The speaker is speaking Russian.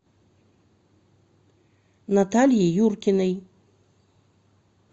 натальи юркиной